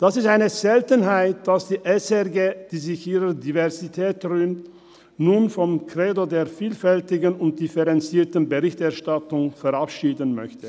Es ist eine Seltenheit, dass sich die SRG, die sich ihrer Diversität rühmt, nun vom Credo der vielfältigen und differenzierten Berichterstattung verabschieden möchte.